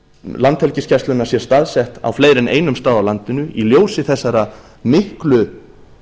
landhelgisgæslunnar sé staðsett á fleiri en einum stað á landinu í ljósi þessara miklu